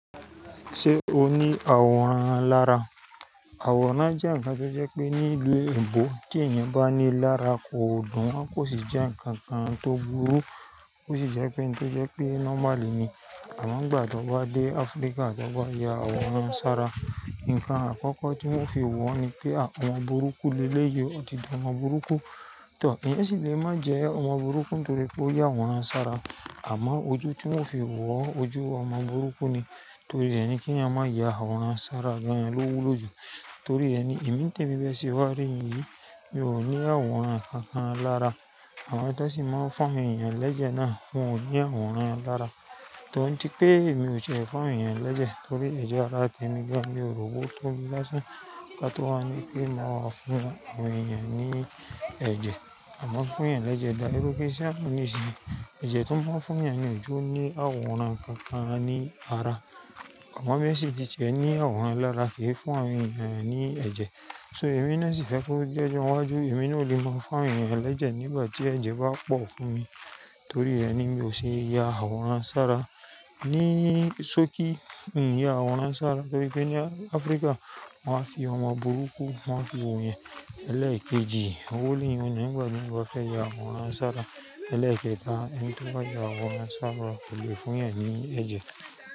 Ṣé o ní àwòrán lára? Àwòrán jẹ́ ǹkan tó jẹ́ pé nílu oyinbó tí èèyàn bá ní lara kò dùn, kò sì jẹ́ ǹkan kan tó burú. Ò sì jẹ́ pé n tó jẹ́ pé nọ́máli emi amo nigbà tan bá dé Áfríkà tan bá ya àwòrán sára. Ǹkan àkọ́kọ́ tí wọ́n fi wọ́n ni pé à omo burúkú li eleyìí ó ti di omo burúkú. Ǹtò, èèyàn sì le má jẹ omo burúkú nítorí pé ó ya àwòrán sára. Àmọ́ ojú tí wọ́n fi wọ́ o ojú omo burúkú ni. Torí ẹni kí ẹ̀yàn máa ya àwòrán sára gan lọ́ wulo jù. Torí ẹni èmi tí èmi be se wá rí mi, mi ò ní àwòrán kankan lára. Àwọn tó sì máa ń fún awon èèyàn lẹ́jẹ̀ náà wọ́n ò ní àwòrán lára. Tọ́ ń tipé èmi ò ṣe ń fún awon èèyàn lẹ́jẹ̀ torí ẹ̀je ara tí èmi gan mi o ri owo toju laáṣan ká tó wa ni pé máa fún awon èèyàn ní ẹ̀jẹ̀. A máa ń fún èèyàn lẹ́jẹ̀ dá erú kí èṣí àbọnìṣe ni. Ẹ̀jẹ̀ tó ń fún èèyàn lójú ní àwòrán kankan ni ara. Àmá bẹ́ẹ̀ sì jíjẹ ní àwòrán alára kì í fún àwọn èèyàn ní ẹ̀jẹ̀. So èmi náà sì fẹ́ kó jẹ́jọ́ wájú èmi náà ò lè máa fún èèyàn lẹ́jẹ̀ nígbà tí ẹ̀jẹ̀ bá pọ̀ fún mi. Torí ẹni mi ò ṣe é ya àwòrán sára. Ní sókí n ò yá àwòrán sára torí pé ní Áfríkà wọ́n máa ń fi ọmo burúkú wọ́n máa ń fi òye ẹlẹ́ẹ̀kejì owó lé wọn nígbà tí wọn bá fẹ́ ya àwòrán sára. Ẹlẹ́ẹ̀kẹta ẹ́ńtì bá ya àwòrán sára kò lè fún'yan ní ẹ̀jẹ̀.